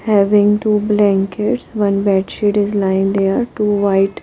having two blankets one bed sheet is lying there to white --